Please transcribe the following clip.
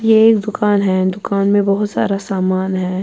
.یہ ایک دکان ہیں دکان مے بہت ساراسامان ہیں